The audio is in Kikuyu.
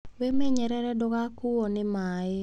Wĩmenyerere ndũgakuuo nĩ maĩ.